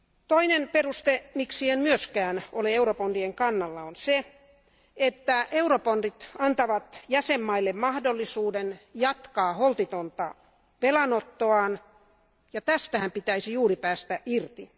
Toinen peruste, miksi en myöskään ole eurobondien kannalla on se, että eurobondit antavat jäsenvaltioille mahdollisuuden jatkaa holtitonta velanottoaan ja tästähän pitäisi juuri päästä irti.